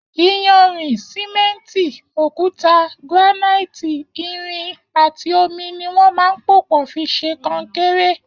Iyànrin, sìmẹ̀ntí, ókùtá, grànáití, ìrín àtí ómí niwọn mà n pópọ̀ fi ṣé kọ̀nkéré